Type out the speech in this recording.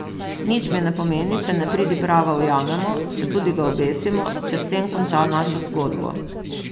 Nič mi ne pomeni, če nepridiprava ujamemo, četudi ga obesimo, če s tem konča našo zgodbo.